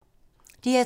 DR2